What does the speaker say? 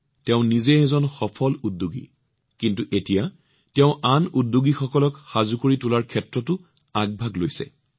তেওঁ নিজে এজন সফল উদ্যোগী কিন্তু এতিয়া তেওঁ আন এজন উদ্যোগী সৃষ্টি কৰাৰ ক্ষেত্ৰতো আগভাগ লৈছে